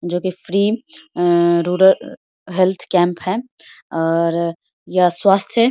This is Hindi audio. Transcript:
जो की फ्री ए हेल्थ कैंप है और यह स्वास्थ्य --